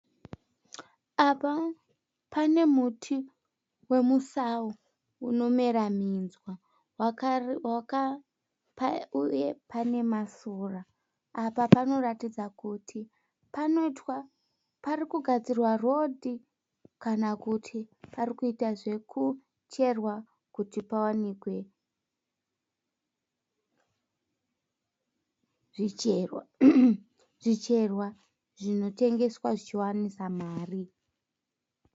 Apa pane muti wemusau unomera minzwa uye pane masora. Apa panoratidza kuti panogadzirwa rodhi kana kuti parikuita zvekucherwa kuti pawanike zvicherwa zvinotengeswa zvichiwanisa mari.